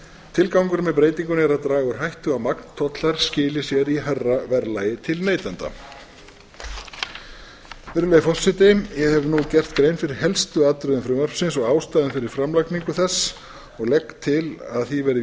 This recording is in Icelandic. tilgangurinn með breytingunni er að draga úr hættu á að magntollar skili sér í hærra verðlagi til neytenda virðulegi forseti ég hef nú gert grein fyrir helstu atriðum frumvarpsins og ástæðunni fyrir framlagningu þess og legg til að því verði